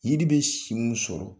Yiri bɛ si mun sɔrɔ